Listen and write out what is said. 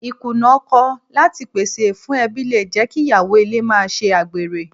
Ì Kùnà ọkọ láti le pèsè fún ẹbí le jẹ́ kí Ìyàwó ilé máa ṣe àgbèrè.